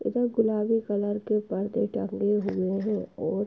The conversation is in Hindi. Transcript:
इधर गुलाबी कलर के परदे टंगे हुए हैं और --